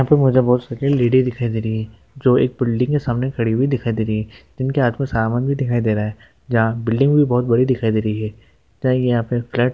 इहापे मुझे बहुत सेके लेडी दिखाई दे रही है जो एक बिल्डिंग -के सामने खड़ी हुई दिखाई दे रही है जिनके हाथ में सामान भी दिखाई दे रहा है जहां बिल्डिंग भी बहुत बड़ी दिखाई दे रही है चाहिए यहां पे फ्लैट --